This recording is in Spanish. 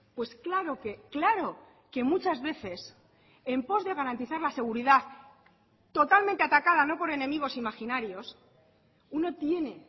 pues claro que claro que muchas veces en pos de garantizar la seguridad totalmente atacada no por enemigos imaginarios uno tiene